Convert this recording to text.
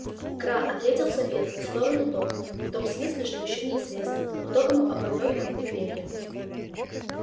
кра ответил самец в сторону тока в том смысле что ещё неизвестно кто кому оборвёт круто перья